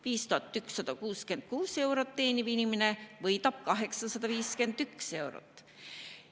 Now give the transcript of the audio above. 5166 eurot teeniv inimene võidab 851 eurot.